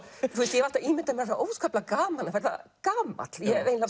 ég hef alltaf ímyndað mér það óskaplega gaman að verða gamall ég